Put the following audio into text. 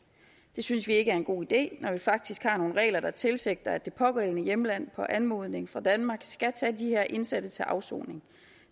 det synes vi ikke er en god idé når vi faktisk har nogle regler der tilsigter at det pågældende hjemland på anmodning fra danmark skal tage de her indsatte til afsoning